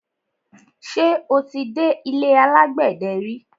Ṣé o ti dé ilé alágbẹ̀dẹ ri?